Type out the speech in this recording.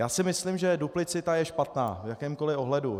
Já si myslím, že duplicita je špatná v jakémkoli ohledu.